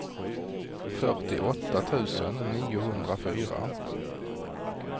fyrtioåtta tusen niohundrafyra